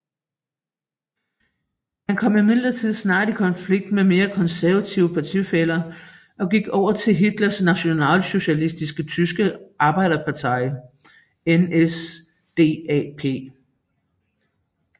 Han kom imidlertid snart i konflikt med mere konservative partifæller og gik over til Hitlers Nationalsocialistiske Tyske Arbejderparti NSDAP